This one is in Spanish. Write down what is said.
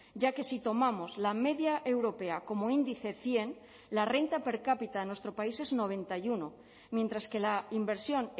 ya que si tomamos la media europea como índice cien la renta per cápita en nuestro país es noventa y uno mientras que la inversión